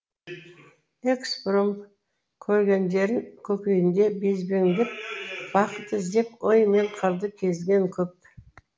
экспромт көргендерін көкейінде безбендеп бақыт іздеп ой мен қырды кезген